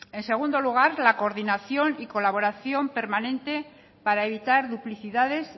en segundo lugar la coordinación y colaboración permanente para evitar duplicidades